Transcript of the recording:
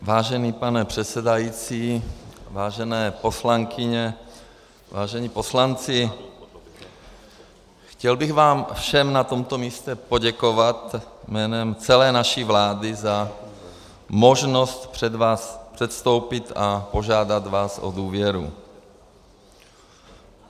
Vážený pane předsedající, vážené poslankyně, vážení poslanci, chtěl bych vám všem na tomto místě poděkovat jménem celé naší vlády za možnost před vás předstoupit a požádat vás o důvěru.